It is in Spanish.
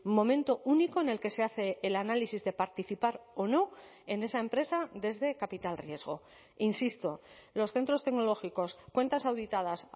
momento único en el que se hace el análisis de participar o no en esa empresa desde capital riesgo insisto los centros tecnológicos cuentas auditadas